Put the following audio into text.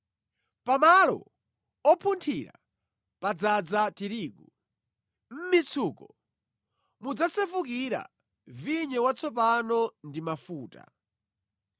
Pa malo opunthira padzaza tirigu; mʼmitsuko mudzasefukira vinyo watsopano ndi mafuta.